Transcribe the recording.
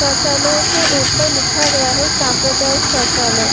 शौचालय के ऊपर लिखा गया है सांप्रदायिक शौचालय।